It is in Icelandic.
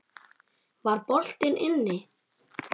Var boltinn inni?